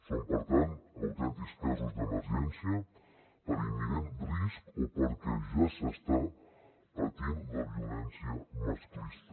són per tant autèntics casos d’emergència per imminent risc o perquè ja s’està patint la violència masclista